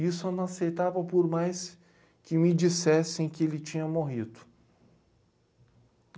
Isso eu não aceitava por mais que me dissessem que ele tinha morrido.